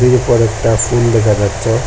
উপরে একটা সিন দেখা যাচ্ছে।